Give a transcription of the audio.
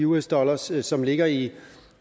us dollars som ligger i